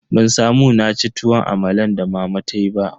Ban samu naci tuwon amalan da mama tayi ba.